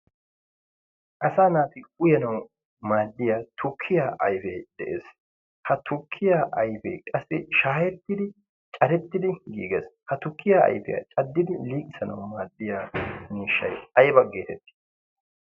asa naati uyanawu maaddiya turkkiyaa aifee de7ees. ha turkkiyaa aifee qassi shaahettidi carettidi giigees. ha tukkiyaa aifiyaa caddidi linkisanawu maaddiya niishshai aiba geetettii?